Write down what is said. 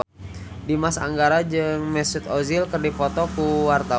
Dimas Anggara jeung Mesut Ozil keur dipoto ku wartawan